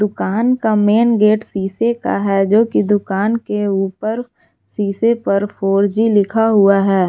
दुकान का main gate शीशे का है जो कि दुकान के उपर शीशे पर फोर जी लिखा है।